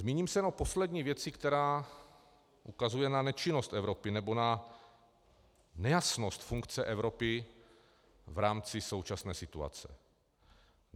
Zmíním se o poslední věci, která ukazuje na nečinnost Evropy, nebo na nejasnost funkce Evropy v rámci současné situace.